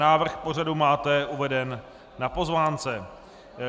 Návrh pořadu máte uveden na pozvánce.